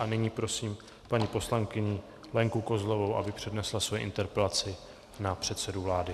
A nyní prosím paní poslankyni Lenku Kozlovou, aby přednesla svoji interpelaci na předsedu vlády.